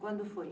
Quando foi?